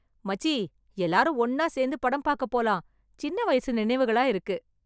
மச்சி, எல்லாரும் ஒண்ணா சேர்ந்து படம் பாக்க போலாம். சின்ன வயசு நினைவுகளா இருக்கு